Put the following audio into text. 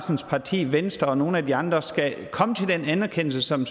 parti venstre og nogle af de andre skulle komme til den erkendelse som